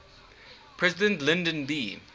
president lyndon b